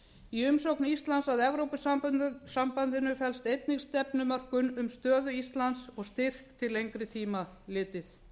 í umsókn íslands að evrópusambandinu felst einnig stefnumörkun um stöðu íslands og styrk til lengri tíma litið